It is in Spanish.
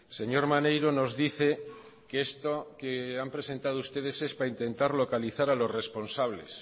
señor maneiro nos dice que esto que han presentado ustedes es para intentar localizar a los responsables